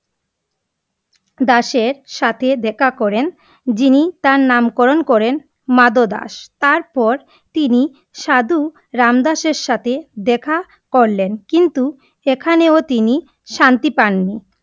দাশের সাথে দেখা করেন, যিনি তার নামকরণ করেন মাধব দাশ, তার পর তিনি সাধু রামদাস থেকে দেখা করলেন, কিন্তু এখানেও তিনি শান্তি পাননি।